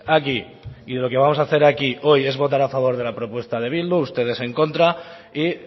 aquí y lo que vamos a hacer aquí hoy es votar a favor de la propuesta de bildu ustedes en contra y